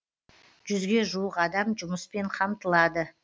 жүзге жуық адам жұмыспен қамтылады